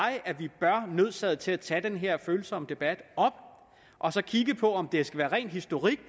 nødsaget til at tage den her følsomme debat og så kigger om det skal være ren historik